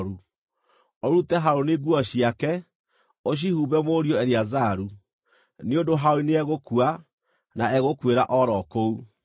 Ũrute Harũni nguo ciake, ũcihumbe mũriũ Eleazaru, nĩ ũndũ Harũni nĩegũkua, na egũkuĩra o ro kũu.”